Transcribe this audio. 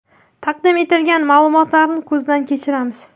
Taqdim etilgan ma’lumotlarni ko‘zdan kechiramiz.